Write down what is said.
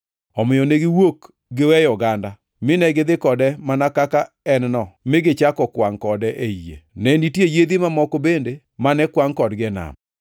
Omiyo ne giwuok giweyo oganda, mine gidhi kode mana kaka ne En-no, mi gichako kwangʼ kode ei yie. Ne nitie yiedhi mamoko bende mane kwangʼ kodgi e nam.